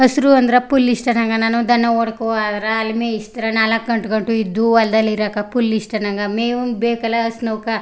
ಹಸಿರು ಅಂದ್ರೆ ಫುಲ್ ಇಷ್ಟ ನಂಗೆ ನಾನು ದನ ಹೊಡ್ಕೋ ಹೋದ್ರೆ ಅಲ್ಲಿ ಮೇಯಿಸ್ದರ್ ನಾಲ್ಕ್ಗಂಟೆ ಗೂ ಇದ್ದು ಹೊಲ್ದಲ್ಲಿ ಇರೋಕೆ ಫುಲ್ ಇಷ್ಟ ನಂಗೆ ಮೇವು ಒಂದು ಬೇಕಲ್ಲ ಹಸ್ನೋಕೆ.